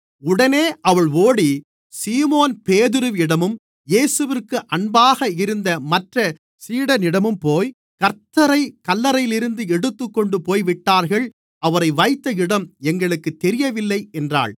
உடனே அவள் ஓடி சீமோன் பேதுருவிடமும் இயேசுவிற்கு அன்பாக இருந்த மற்ற சீடனிடமும்போய் கர்த்த்தரைக் கல்லறையிலிருந்து எடுத்துக்கொண்டு போய்விட்டார்கள் அவரை வைத்த இடம் எங்களுக்குத் தெரியவில்லை என்றாள்